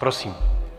Prosím.